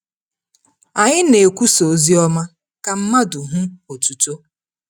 Anyị na-ekwusa Oziọma ka mmadụ hụ otuto.